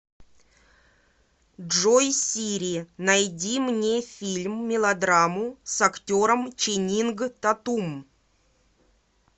джой сири найди мне фильм мелодраму с актером ченинг татум